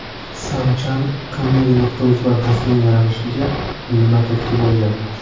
Sam Chan Comedy.uz loyihasining yaralishiga nima turtki bo‘lgan?